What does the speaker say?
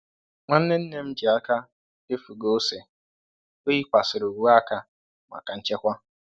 Nwanne nne m ji aka efu ghọọ ose, o yikwasịrị uwe aka maka nchekwa.